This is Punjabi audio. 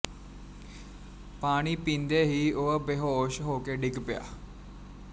ਪਾਣੀ ਪੀਂਦੇ ਹੀ ਉਹ ਬੇਹੋਸ਼ ਹੋਕੇ ਡਿੱਗ ਪਿਆ